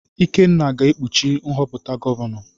Ikenna ga-ekpuchi nhọpụta gọvanọ.